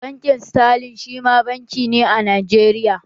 Bankin sterling shima banki ne a Najeriya